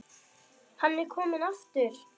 Hann er kominn aftur!